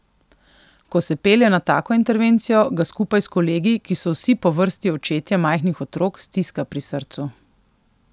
Ko se pelje na tako intervencijo, ga skupaj s kolegi, ki so vsi po vrsti očetje majhnih otrok, stiska pri srcu.